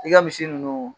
I ka misi ninnu